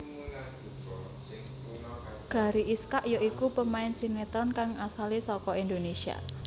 Gary Iskak ya iku pemain sinetron kang asalé saka Indonésia